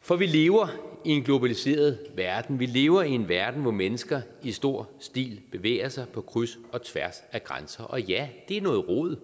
for vi lever i en globaliseret verden vi lever i en verden hvor mennesker i stor stil bevæger sig på kryds og tværs af grænser og ja det er noget rod